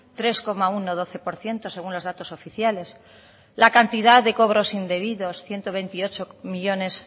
tres coma uno doce por ciento según los datos oficiales la cantidad de cobros indebidos ciento veintiocho millónes